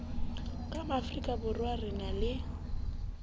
ka maafrikaborwa re na le